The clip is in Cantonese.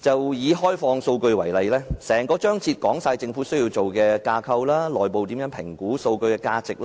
就以開放數據為例，報告內的整個章節說明政府須設立甚麼架構，以及內部應如何評估數據的價值，